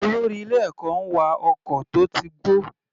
Olórí ilé ẹ̀kọ́ ń wa ọkọ̀ tó ti gbó.